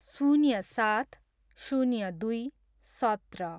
शून्य सात, शून्य दुई, सत्र